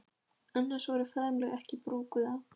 Annars voru faðmlög ekki brúkuð á